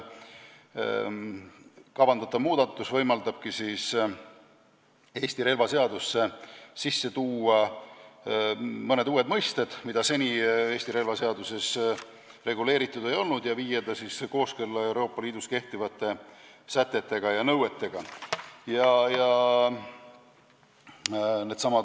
Kavandatav muudatus võimaldab Eesti relvaseadusesse sisse tuua mõned uued mõisted, mida seni Eesti relvaseaduses ei olnud, ja viia seadus kooskõlla Euroopa Liidus kehtivate sätete ja nõuetega.